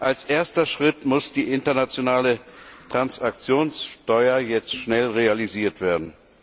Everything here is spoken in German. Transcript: Als erster Schritt muss die internationale Transaktionssteuer jetzt schnell realisiert werden.